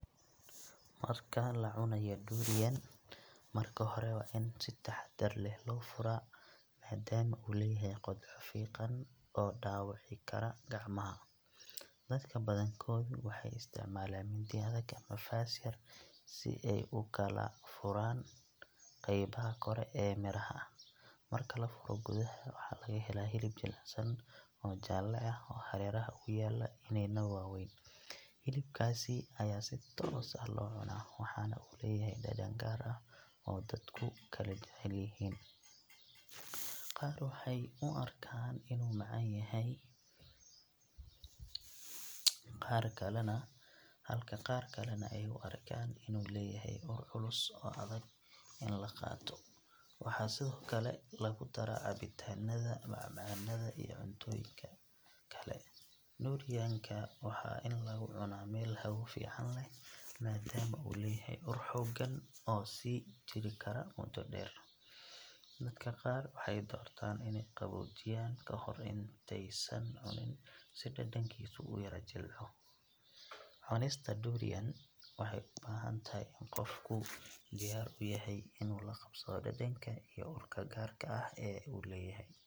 Marka la cunayo durian, marka hore waa in si taxaddar leh loo furaa maadaama uu leeyahay qodxo fiiqan oo dhaawici kara gacmaha. Dadka badankoodu waxay isticmaalaan mindi adag ama faas yar si ay u kala furfuraan qaybaha kore ee midhaha. Marka la furo, gudaha waxaa laga helaa hilib jilicsan oo jaalle ah oo hareeraha uga yaalla iniinno waaweyn. Hilibkaas ayaa si toos ah loo cunaa, waxaana uu leeyahay dhadhan gaar ah oo dadku kala jecel yihiin. Qaar waxay u arkaan inuu macaan yahay, halka qaar kalena ay u arkaan inuu leeyahay ur culus oo adag in la qaato. Waxaa sidoo kale lagu daraa cabitaanada, macmacaanada iyo cuntooyinka kale. Durian ka waa in lagu cunaa meel hawo fiican leh maadaama uu leeyahay ur xooggan oo sii jiri kara muddo dheer. Dadka qaar waxay doortaan inay qaboojiyaan ka hor intaysan cunin si dhadhankiisu u yara jilciso. Cunista durian waxay u baahan tahay in qofku diyaar u yahay inuu la qabsado dhadhanka iyo urka gaarka ah ee uu leeyahay.